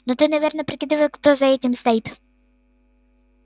но ты наверное прикидывал кто за этим стоит